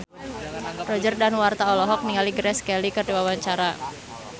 Roger Danuarta olohok ningali Grace Kelly keur diwawancara